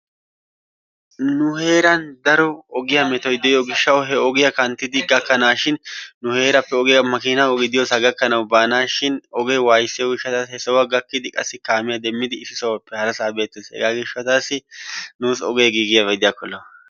nu heeran daro ogiyaa metoy diyo gishshaw he ogiyaa kanttidi gakkanashin nu heerappe ogiyaa makinaa ogee diyoosa gakkanaw baanashin ogee wayssiyo gishshatassi he sohuwaa gakkidi qassi kaamiyaa demmidi issi sohuwappe harasa beettees. hegaa gishshatassi nuussi ogee giigiyaaba gidiyakko lo''o.